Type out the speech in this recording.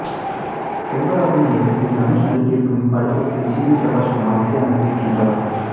செல்வராகவன் இயக்கத்தில் தனுஷ் நடித்திருக்கும் இப்படத்துக்கு ஜி வி பிரகாஷ் குமார் இசை அமைத்திருக்கின்றார்